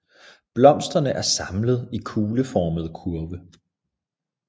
Blomsterne er samlet i kugleformede kurve